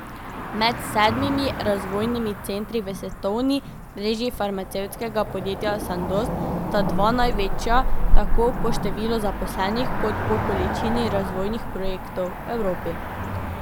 Med sedmimi razvojnimi centri v svetovni mreži farmacevtskega podjetja Sandoz sta dva največja, tako po številu zaposlenih kot po količini razvojnih projektov, v Evropi.